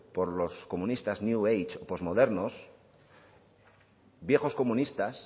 por los comunistas new age postmodernos viejos comunistas